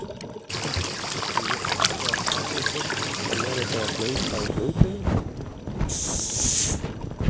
Og ég frétti að Kári Steinn ætlaði meira að segja að hlaupa í hlaupinu?